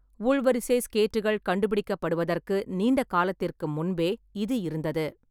உள்வரிசை ஸ்கேட்டுகள் கண்டுபிடிக்கப்படுவதற்கு நீண்ட காலத்திற்கு முன்பே இது இருந்தது.